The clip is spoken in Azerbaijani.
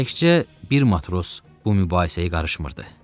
Təkcə bir matros bu mübahisəyə qarışmırdı.